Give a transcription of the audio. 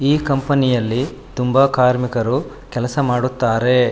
ಈ ಕಂಪನಿಯಲ್ಲಿ ತುಂಬಾ ಕಾರ್ಮಿಕರು ಕೆಲಸ ಮಾಡುತ್ತಾರೆ.